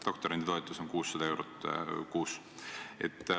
Doktoranditoetus on 600 eurot kuus.